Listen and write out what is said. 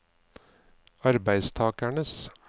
arbeidstakernes